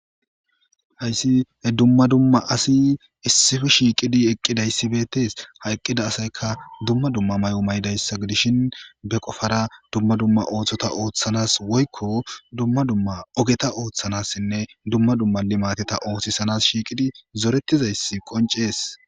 Hayisi he dumma dumma asi issife shiiqidi eqqidayssi beettees ha eqqida asayka dumma dumma mayo mayidayssa gidishin be qofara dumma dumma oothota oothanas woyiko dumma dumma ogeta oothanassinne dumma dumma ni mateta oothisanas shiiqidi zorettizayssi qoncees